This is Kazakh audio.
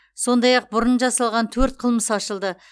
сондай ақ бұрын жасалған төрт қылмыс ашылды